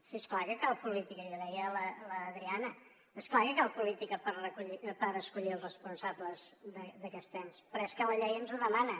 sí és clar que cal política i ho deia l’adriana és clar que cal política per escollir els responsables d’aquests ens però és que la llei ens ho demana